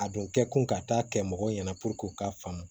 A dun kɛ kun ka taa kɛ mɔgɔw ɲɛna puruke u k'a faamu